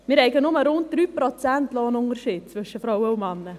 wir hätten nur rund 3 Prozent Lohnunterschied zwischen Frauen und Männern.